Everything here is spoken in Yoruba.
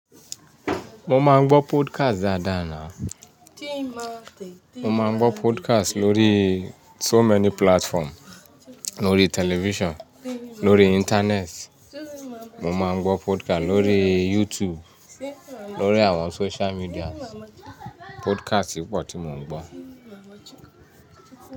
Mo máa ń gbọ́ podcast dáadáa ni. Mo máa ń gbọ́ podcast lórí so many platform, lórí television, lórí internet. Mo máa ń gbọ́ podcast lórí YouTube, lórí àwọn social medias. Podcast pọ̀ tí mo ń gbọ́